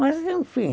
Mas, enfim.